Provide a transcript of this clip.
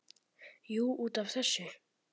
Jú, út af þessu.